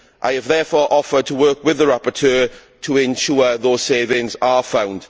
I have therefore offered to work with the rapporteur to ensure those savings are found.